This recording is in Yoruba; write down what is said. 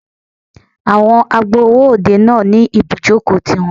Àwọn agbowó òde náà ní ibùjókòó ti wọn.